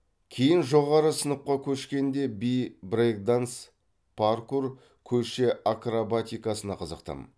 кейін жоғары сыныпқа көшкенде би брейк данс паркур көше акробатикасына қызықтым